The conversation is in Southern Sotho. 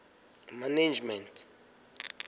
management